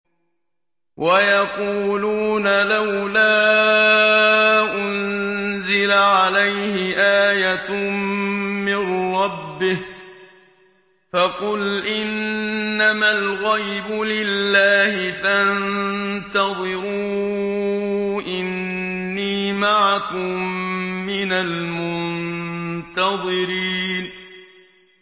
وَيَقُولُونَ لَوْلَا أُنزِلَ عَلَيْهِ آيَةٌ مِّن رَّبِّهِ ۖ فَقُلْ إِنَّمَا الْغَيْبُ لِلَّهِ فَانتَظِرُوا إِنِّي مَعَكُم مِّنَ الْمُنتَظِرِينَ